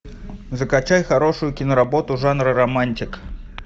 закачай хорошую киноработу жанра романтик